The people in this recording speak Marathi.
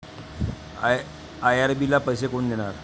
आयआरबीला पैसे कोण देणार?